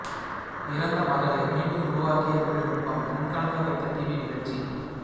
இறந்த மகளை மீண்டும் உருவாக்கிய தொழில்நுட்பம் கண்கலங்க வைத்த டிவி நிகழ்ச்சி